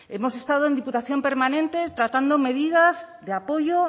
hemos estado en diputación permanente tratando medidas de apoyo